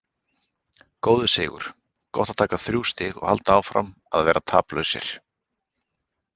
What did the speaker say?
Góður sigur, gott að taka þrjú stig og halda áfram að vera taplausir.